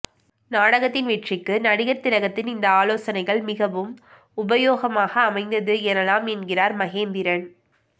நாடகத்தின் வெற்றிக்கு நடிகர் திலகத்தின் இந்த ஆலோசனைகள் மிகவும் உபயோகமாக அமைந்தது எனலாம் என்கிறார் மகேந்திரன்